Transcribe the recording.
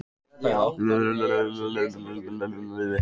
En ég kæri mig ekki um að prútta um neitt